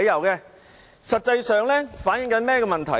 這實際上反映出甚麼問題？